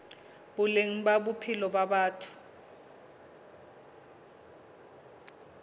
boleng ba bophelo ba batho